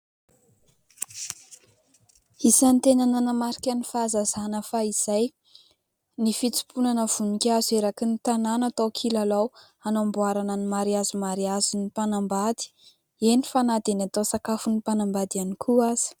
Isan'ny tena namarika ny fahazazana fahizay, ny fitsimponana voninkazo eraky ny tanàna atao kilalao, hanamboarana ny mariazy mariazin'ny mpanambady; eny fa na dia ny atao sakafon'ny mpanambady ihany koa aza.